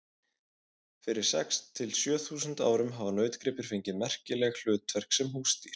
Fyrir sex til sjö þúsund árum hafa nautgripir fengið merkileg hlutverk sem húsdýr.